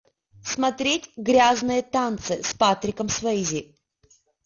смотреть грязные танцы с патриком суэйзи